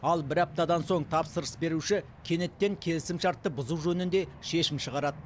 ал бір аптадан соң тапсырыс беруші кенеттен келісімшартты бұзу жөнінде шешім шығарады